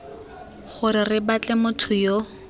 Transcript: gore re batle motho yo